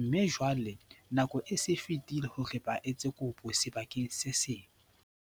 mme jwale nako e se e fetile hore ba etse kopo sebakeng se seng.